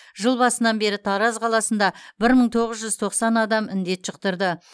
жыл басынан бері тараз қаласында бір мың тоғыз жүз тоқсан адам індет жұқтырды